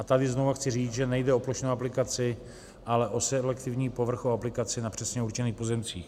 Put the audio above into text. A tady znovu chci říct, že nejde o plošnou aplikaci, ale o selektivní povrchovou aplikaci na přesně určených pozemcích.